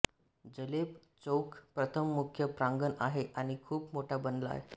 जलेब चौक प्रथम मुख्य प्रांगण आहे आणि खूप मोठा बनला आहे